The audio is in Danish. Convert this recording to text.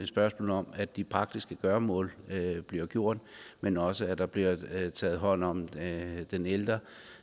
spørgsmål om at de praktiske gøremål bliver gjort men også at der bliver taget hånd om den ældre